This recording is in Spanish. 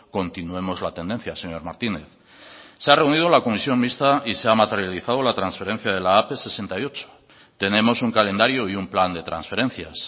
continuemos la tendencia señor martínez se ha reunido la comisión mixta y se ha materializado la transferencia de la ap sesenta y ocho tenemos un calendario y un plan de transferencias